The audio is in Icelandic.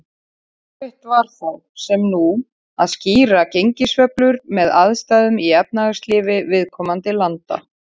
Erfitt var þá, sem nú, að skýra gengissveiflur með aðstæðum í efnahagslífi viðkomandi landa.